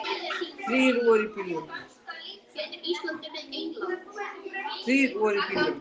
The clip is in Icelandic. Þrír voru í bílnum.